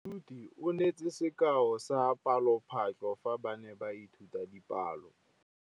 Moithuti o neetse sekaô sa palophatlo fa ba ne ba ithuta dipalo.